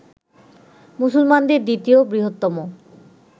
মুসলমানদের দ্বিতীয় বৃহত্তম